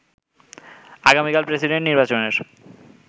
আগামীকাল প্রেসিডেন্ট নির্বাচনের